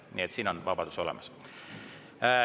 Nii et siin on vabadus olemas.